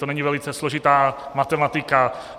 To není velice složitá matematika.